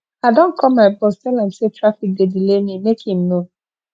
i don call my boss tell am sey traffic dey delay me make im know